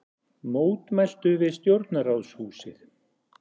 Mótmæltu við stjórnarráðshúsið